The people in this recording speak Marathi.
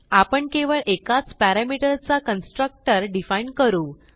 आपण केवळ एकाच पॅरामीटर चा कन्स्ट्रक्टर डिफाईन करू